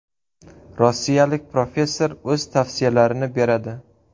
Rossiyalik professor o‘z tavsiyalarini beradi.